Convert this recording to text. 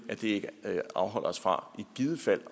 ikke afholde os fra i givet fald